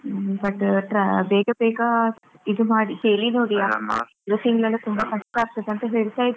ಹ್ಮ್ but ಟ್ರ ಬೇಗ ಬೇಗ ಇದು ಮಾಡಿ ಹೇಳಿ ನೋಡಿ ತುಂಬ ಕಷ್ಟ ಆಗ್ತದಂತ ಹೇಳ್ತಾ ಇದ್ರು.